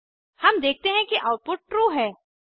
हम देखते हैं कि आउटपुट ट्रू है